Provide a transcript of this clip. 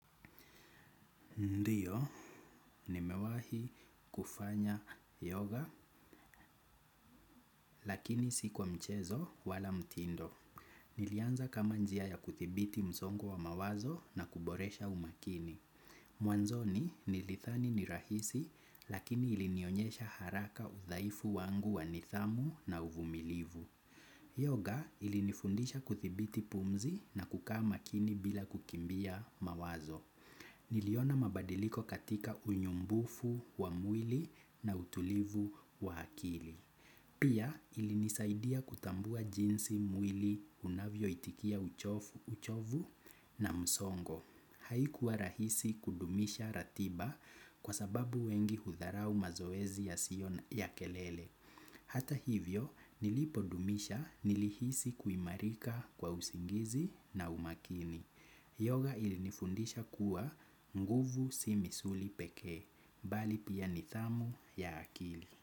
Ndiyo, nimewahi kufanya yoga lakini si kwa mchezo wala mtindo. Nilianza kama njia ya kuthibiti msongo wa mawazo na kuboresha umakini. Mwanzoni nilithani ni rahisi lakini ilinionyesha haraka udhaifu wangu wa nidhamu na uvumilivu. Yoga ilinifundisha kuthibiti pumzi na kukaa makini bila kukimbia mawazo. Niliona mabadiliko katika unyumbufu wa mwili na utulivu wa akili. Pia ilinisaidia kutambua jinsi mwili unavyo itikia uchovu na msongo. Haikuwa rahisi kudumisha ratiba kwa sababu wengi hudharau mazoezi yasiyo ya kelele. Hata hivyo nilipodumisha nilihisi kuimarika kwa usingizi na umakini. Yoga ili nifundisha kuwa nguvu si misuli pekee, bali pia nidhamu ya akili.